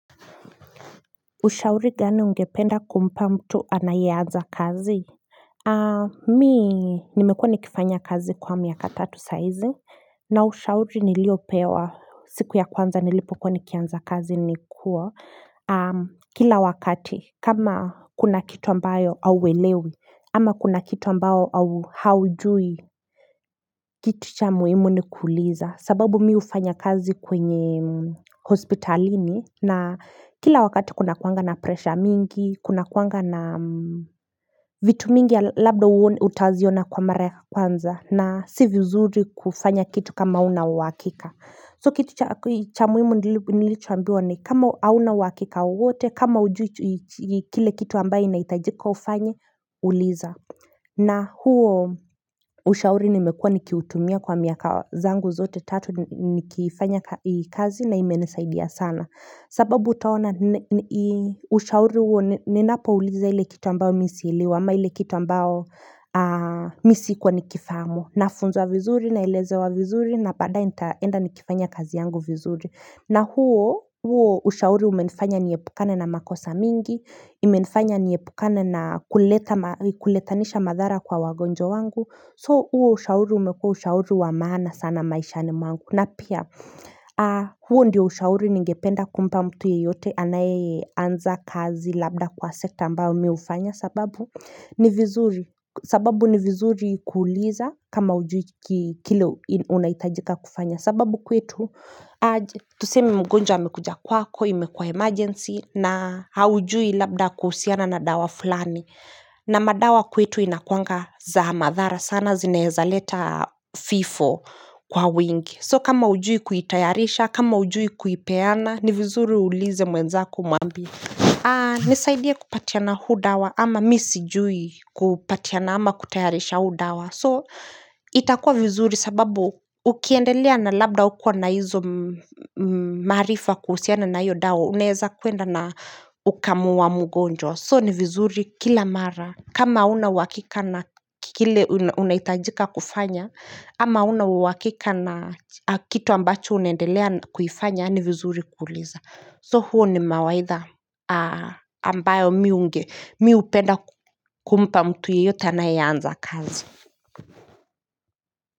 Ushauri gani ungependa kumpa mtu anayeanza kazi Mimi nimekuwa nikifanya kazi kwa miaka tatu saa hizi na ushauri niliopewa siku ya kwanza nilipokuwa nikianza kazi nikua Kila wakati kama kuna kitu ambayo hauelewi ama kuna kitu ambao au haujui Kitu cha muhumu ni kuuliza sababu mimi hufanya kazi kwenye hospitalini na kila wakati kunakuanga na presha mingi, kuna kuanga na vitu mingi labda utaziona kwa mara ya kwanza na si viuzuri kufanya kitu kama una wakika. So kitu cha muhimu nilicho ambiwa ni kama hauna uhakika wowote kama hujui kile kitu ambaye inahitajika ufanye uliza na huo ushauri nimekuwa nikiuutumia kwa miaka zangu zote tatu nikifanya kazi na imenisaidia sana sababu utaona ushauri huo ninapouliza ile kitu ambao mimi si elewi ama ile kitu ambao mimi si kuwa nikifamu na funzwa vizuri, na elezewa vizuri, na baada ye nitaenda nikifanya kazi yangu vizuri na huo, huo ushauri umenifanya niepukane na makosa mingi imenifanya niepukane na kuletanisha madhara kwa wagonjwa wangu So huo ushauri umekuwa ushauri wamaana sana maishani mwangu na pia huo ndio ushauri ningependa kumpa mtu yeyote anayeanza kazi labda kwa sekta ambayo mimi hufanya sababu sababu ni vizuri kuuliza kama hujui kile unahitajika kufanya sababu kwetu aje Tusemi mgonja amekuja kwako, imekuwa emergency na haujui labda kuhusiana na dawa fulani na madawa kwetu inakuanga za madhara sana zinaezaleta vifo kwa wingi So kama hujui kuitayarisha, kama hujui kuipeana ni vizuri uulize mwenzako umwambie Nisaidie kupatiana huu dawa ama mimi sijui kupatiana ama kutayarisha huu dawa So itakuwa vizuri sababu ukiendelea na labda hukuwa na hizo maarifa kuhusiana na hiyo dawa Unaweza kwenda na ukamuua mugonjwa So ni vizuri kila mara kama huna uhakika na kile unahitajika kufanya ama huna uhakika na kitu ambacho unendelea kuifanya ni vizuri kuuliza So huo ni mawaidha ambayo mimi hunge, mimi hupenda kumpa mtu yeyote anayeanza kazi.